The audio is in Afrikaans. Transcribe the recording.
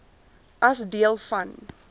as deel van